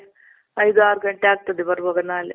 ಐದು ಆರ್ ಗಂಟೆ ಆಗ್ತದೆ ಬರೋವಾಗ ನಾಳೆ.